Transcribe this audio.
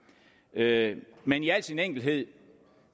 ryanair men i al sin enkelhed